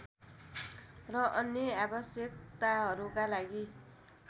र अन्य आवश्यकताहरूका लागि